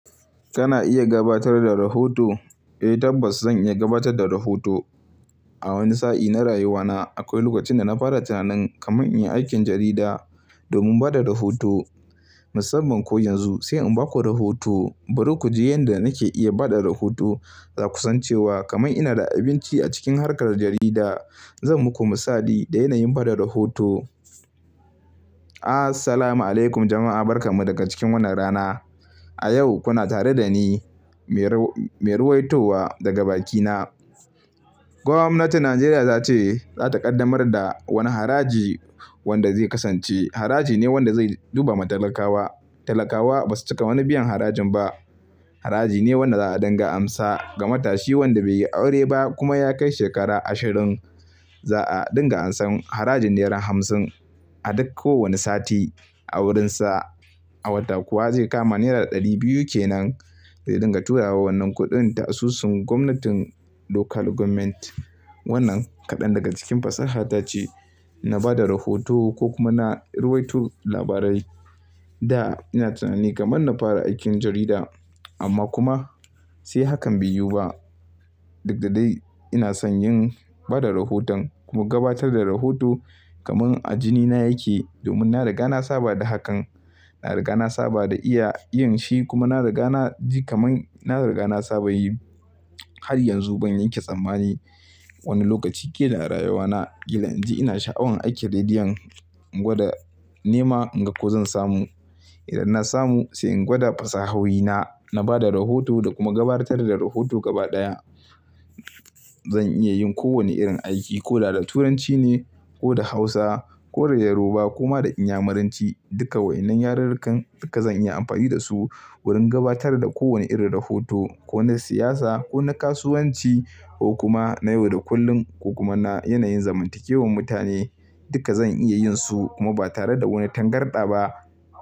Kana iya gabatar da rahoto? Eh tabbas zan iya gabatar da rahoto. A wani sa'i na rayuwana akwai lokacin da na fara tunanin kaman in yi aikin jarida domin bada rahoto. Musamman ko yanzu sai in baku rahoto. Bari ku ji yanda nake iya bada rahoto, da kusancewa kamar ina da abinci a cikin harkar jarida. Zan muku misali da yanayin bada rahoto. Ah salam alaykum jama'a, barka mu daga cikin wannan rana. A yau kuna tare da ni, mai ruwaitowa daga bakina. Gwamnatin Najeriya za ce za ta kaddamar da wani haraji wanda zai kasance haraji ne wanda zai duba matalakawa. Talakawa ba su cika wani biyan harajin ba. Haraji ne wanda za a ɗinga amsa ga matashi wanda bai yi aure ba kuma ya kai shekara ashirin. Za'a ɗinga ansan harajin nera hamsin a duk kowane sati a wurinsa. A wata kuwa zai kama nera ɗari biyu ke nan. Zai dinga turawa wannan kuɗin ta asusun gwamnatin Local Government. Wannan kaɗan daga cikin fasahar tace na bada rahoto ko kuma na ruwaito labarai da ina tunani kamar na fara aikin jarida. Amma kuma sai hakan bai yiwu ba. Duk da dai ina son yin bada rahoton kuma gabatar da rahoto kamar a jinina yake domin na riga na saba da hakan. Na riga na saba da iya, iya yin shi kuma na riga na ji kamar na riga na saba yi. Har yanzu ban yanke tsammani. Wani lokaci kila a rayuwana kila in ji ina sha'awar aiki a rediyon. In gwada nema in ga ko zan samu. Idan na samu sai in gwada fasahohi na, na bada rahoto da kuma gabatar da rahoto gaba ɗaya. Zan iya yin ko wani irin aiki ko da da Turanci ne ko da Hausa ko da Yoruba kuma da Inyamuranci. Duka wa'innan yarurrukan duka zan iya amfani da su wurin gabatar da kowane irin rahoto ko na siyasa ko na kasuwanci ko kuma na yau da kullum ko kuma na yanayin zamantakewar mutane. Duka zan iya yin su kuma ba tare da wani tangarɗa ba.